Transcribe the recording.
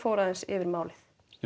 fór aðeins yfir málið